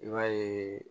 I b'a ye